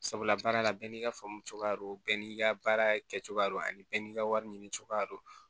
Sabula baara la bɛɛ n'i ka faamu cogoya don bɛɛ n'i ka baara kɛcogoya don ani bɛɛ n'i ka wari ɲini cogoya don